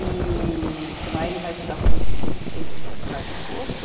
E ele vai estudar com ê esse bocado de esforço.